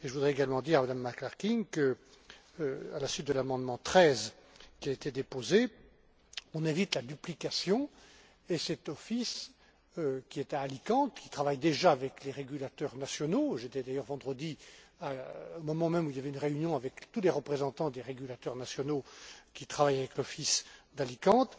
Je voudrais également dire à Mme McClarkin qu'à la suite de l'amendement 13 qui a été déposé, on évite la duplication. Cet office, qui est à Alicante et qui travaille déjà avec les régulateurs nationaux j'y étais d'ailleurs vendredi, au moment même où il y avait une réunion avec tous les représentants des régulateurs nationaux qui travaillent avec l'office d'Alicante